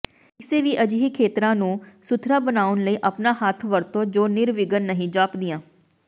ਕਿਸੇ ਵੀ ਅਜਿਹੇ ਖੇਤਰਾਂ ਨੂੰ ਸੁਥਰਾ ਬਣਾਉਣ ਲਈ ਆਪਣਾ ਹੱਥ ਵਰਤੋ ਜੋ ਨਿਰਵਿਘਨ ਨਹੀਂ ਜਾਪਦੀਆਂ